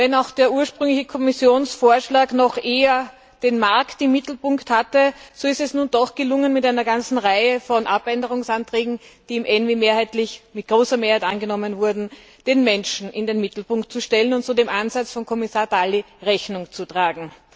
Auch wenn der ursprüngliche Kommissionsvorschlag noch eher den Markt im Mittelpunkt hatte, ist es nun doch gelungen, mit einer ganzen Reihe von Änderungsanträgen, die mit großer Mehrheit angenommen wurden, den Menschen in den Mittelpunkt zu rücken und so dem Einsatz von Kommissar Dalli Rechnung zu tragen.